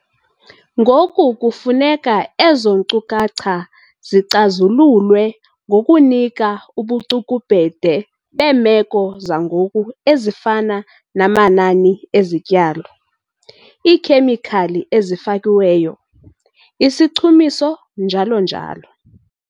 Ngoku kufuneka ezo nkcukacha zicazululwe ngokunika ubucukubhede beemeko zangoku ezifana namanani ezityalo, iikhemikhali ezifakiweyo, isichumiso njalo njalo.